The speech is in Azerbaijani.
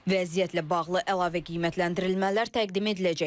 Vəziyyətlə bağlı əlavə qiymətləndirilmələr təqdim ediləcək.